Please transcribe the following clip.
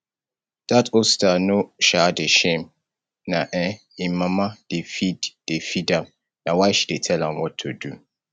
dat osita no um dey shame na um im mama dey feed dey feed am na why she dey tell am what to do